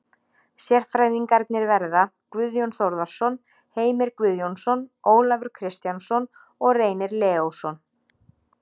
Sérfræðingarnir verða Guðjón Þórðarson, Heimir Guðjónsson, Ólafur Kristjánsson og Reynir Leósson.